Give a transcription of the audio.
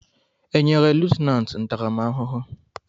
Enyere lutenanti ntaramahụhụ?